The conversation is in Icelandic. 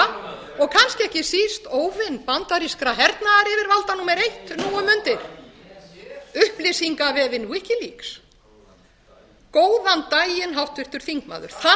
óvin bandarískra hernaðaryfirvalda númer eitt nú um mundir góðan daginn upplýsingavefinn wikileaks góðan daginn háttvirtur þingmaður það kann nú